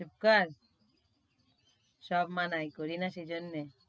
চুপকর, সব মানায় করি না সে জন্যে।